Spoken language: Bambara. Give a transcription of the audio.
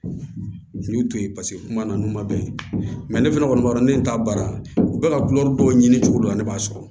N y'u to yen paseke kuma na n'u ma bɛn ne fana kɔni b'a dɔn ne t'a baara u bɛ ka gulɔ dɔ ɲini cogo dɔ la ne b'a sɔrɔ